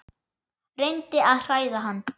Reyndi að hræða hann.